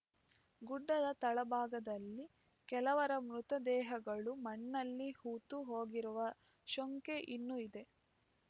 ಗುಡ್ಡದ ತಳಭಾಗದಲ್ಲಿ ಕೆಲವರ ಮೃತದೇಹಗಳು ಮಣ್ಣಲ್ಲಿ ಹೂತು ಹೋಗಿರುವ ಶಂಕೆ ಇನ್ನೂ ಇದೆ